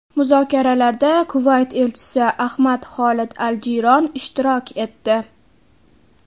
Muzokaralarda Kuvayt elchisi Ahmad Xolid al-Jiyron ishtirok etdi.